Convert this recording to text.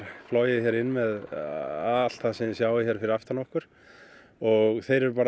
flogið hér inn með allt sem við sjáum hér fyrir aftan okkur og þeir eru bara